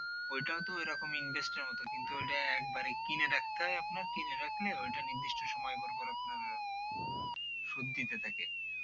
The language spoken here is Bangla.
ওইটাও তো ঐ রকমই invest মত ওইটা একেবারে কিনে রাখতে হয় আপনার কিছুটা দিনের মতো ওইটা নির্দিষ্ট সময় করে পরে আপনার সুদ দিতে থাকে